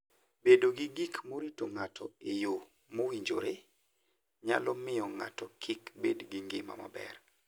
Bedo gi gik morito ng'ato e yo mowinjore nyalo miyo ng'ato kik bed gi ngima maber.